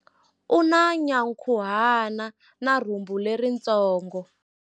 U na nyankhuhana na rhumbu leritsongo.